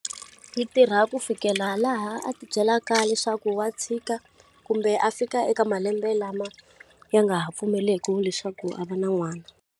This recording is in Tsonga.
Yi tirha ku fikela laha a ti byelaka leswaku wa tshika, kumbe a fika eka malembe lama ya nga ha pfumeleki leswaku a va na n'wana.